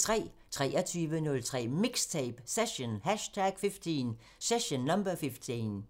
23:03: MIXTAPE – Session #15